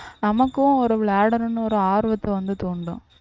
நமக்கும் ஒரு விளையாடணும்னு ஒரு ஆர்வத்தை வந்து தூண்டும்